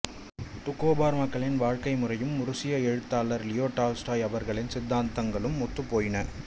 Doukhobor மக்களின் வாழ்க்கை முறையும் உருசிய எழுத்தாளர் லியோ டால்ஸ்டாய் அவர்களின் சித்தாந்தங்களும் ஒத்துப் போயின